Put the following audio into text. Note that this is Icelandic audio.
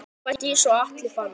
Harpa Dís og Atli Fannar.